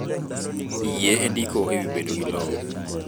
Yie e ndiko e wi bedo gi lowo.